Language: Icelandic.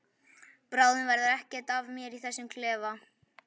Bráðum verður ekkert eftir af mér í þessum klefa.